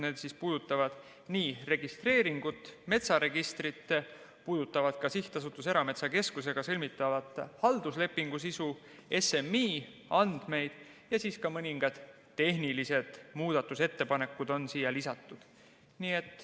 Need puudutavad registreeringut, metsaregistrit, SA Erametsakeskusega sõlmitava halduslepingu sisu, SMI andmeid ja siis on siia lisatud ka mõningad tehnilised muudatusettepanekud.